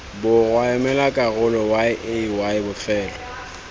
borwa emela karolo yay bofelo